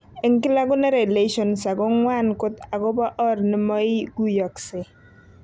En kila konere lessions ago ngwan kot ago por or nemoiguyogsei.